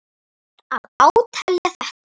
Ber að átelja þetta.